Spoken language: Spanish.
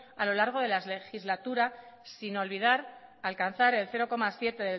a lo largo de la legislatura sin olvidar alcanzar el cero coma siete